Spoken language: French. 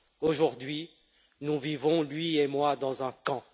Aujourd'hui, nous vivons, lui et moi, dans un camp.